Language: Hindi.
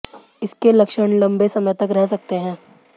इसके लक्षण लंबे समय तक रह सकते हैं